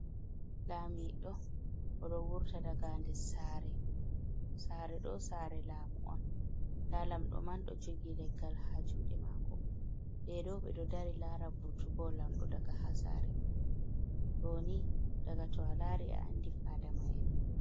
Lamiɗo o ɗo wurta daga nder saare, saare ɗo saare laamu on, nda lamɗo man ɗo jogii leggal haa juuɗe maako, nda fadama en ɓe ɗo dari laara vurtugo lamiɗo daga haa saare man, ɗo ni daga to a laari a andi fadama en on.